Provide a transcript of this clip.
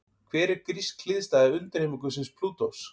Hver er grísk hliðstæða undirheimaguðsins Plútós?